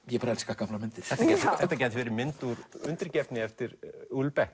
ég bara elska gamlar myndir þetta gæti verið mynd úr undirgefni eftir